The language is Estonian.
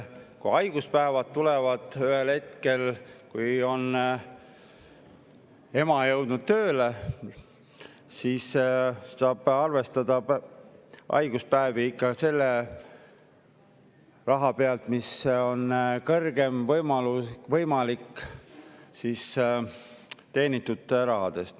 Kui haiguspäevad tulevad, ühel hetkel, kui ema on jõudnud tööle, siis arvestatakse tema haigus ikka kõrgeima võimaliku teenitud summa pealt.